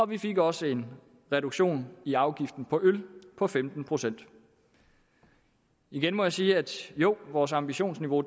vi fik også en reduktion i afgiften på øl på femten procent igen må jeg sige at vores ambitionsniveau